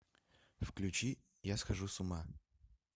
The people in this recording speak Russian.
включи я схожу с ума